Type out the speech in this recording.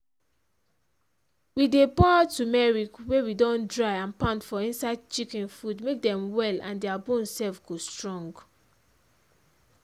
we dey pour tumeriac wey we dondry and pound for inside chicken food make dem well and dia bones sef go strong.